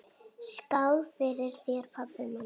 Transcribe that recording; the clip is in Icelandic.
Skál fyrir þér, pabbi minn.